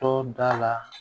Tɔ da la